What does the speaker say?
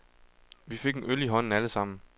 Vi fik en øl i hånden alle sammen.